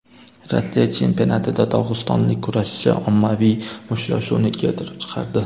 Rossiya chempionatida dog‘istonlik kurashchi ommaviy mushtlashuvni keltirib chiqardi .